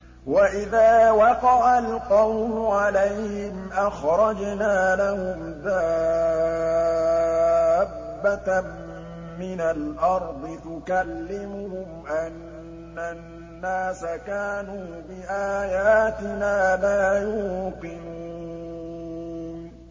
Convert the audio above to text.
۞ وَإِذَا وَقَعَ الْقَوْلُ عَلَيْهِمْ أَخْرَجْنَا لَهُمْ دَابَّةً مِّنَ الْأَرْضِ تُكَلِّمُهُمْ أَنَّ النَّاسَ كَانُوا بِآيَاتِنَا لَا يُوقِنُونَ